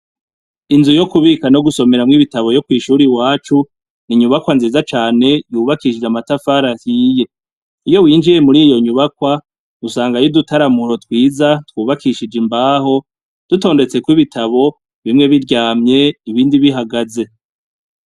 Inzu yo kubika no gusomeramwo ibitabo yo kw'ishuri wacu , ni inyubakwa nziza cane yubakishije amatafari ahiye, iyo winjiye muri iyo nyubakwa usanga ayo i dutaramuho twiza twubakishije imbaho dutondetse ko ibitabo bimwe biryamye ibindi bihagaze.